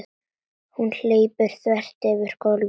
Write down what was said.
Hún hleypur þvert yfir gólfið.